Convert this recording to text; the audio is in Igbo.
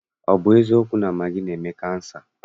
Ọ bụ eziokwu na magị na-eme kansa?